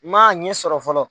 M'a ɲɛ sɔrɔ fɔlɔ